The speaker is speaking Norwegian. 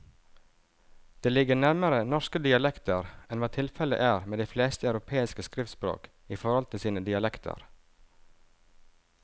Det ligger nærmere norske dialekter enn hva tilfellet er med de fleste europeiske skriftspråk i forhold til sine dialekter.